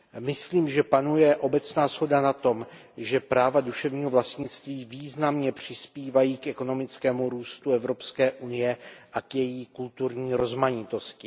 Myslím, že panuje obecná shoda na tom, že práva duševního vlastnictví významně přispívají k ekonomickému růstu Evropské unie a k její kulturní rozmanitosti.